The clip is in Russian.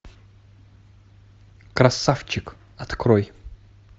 красавчик открой